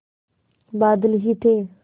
बादल ही थे